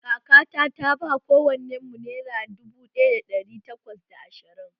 Kakata ta ba kowannenmu naira dubu ɗaya da ɗari takwas da ashirin